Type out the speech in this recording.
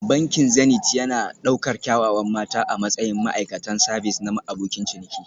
Bankin Zenith yana ɗaukar kyawawan mata a matsayin ma'aikatan sabis na abokin ciniki